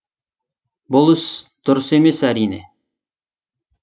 бұл ісі дұрыс емес әрине